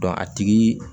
a tigi